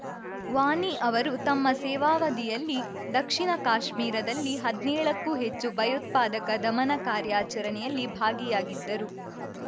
ವಾನಿ ಅವರು ತಮ್ಮ ಸೇವಾವಧಿಯಲ್ಲಿ ದಕ್ಷಿಣ ಕಾಶ್ಮೀರದಲ್ಲಿ ಹದ್ನೇಳ ಕ್ಕೂ ಹೆಚ್ಚು ಭಯೋತ್ಪಾದಕ ದಮನ ಕಾರ್ಯಾಚರಣೆಯಲ್ಲಿ ಭಾಗಿಯಾಗಿದ್ದರು